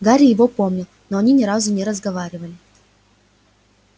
гарри его помнил но они ни разу не разговаривали